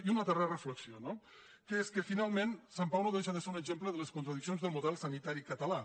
i una darrera reflexió no que és que finalment sant pau no deixa de ser un exemple de les contradiccions del model sanitari català